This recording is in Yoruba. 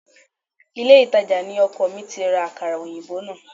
Ilé-ìtàjà ni ọkọ mi ti ra Àkàrà òyìnbó náà